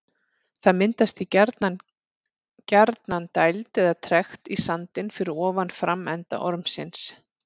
Það myndast því gjarnan gjarnan dæld eða trekt í sandinn fyrir ofan framenda ormsins.